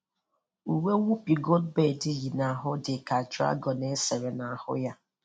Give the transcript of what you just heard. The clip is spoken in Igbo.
Uwe Whoopi Goldberg yi n'ahụ dị ka dragọn e sere n'ahụ ya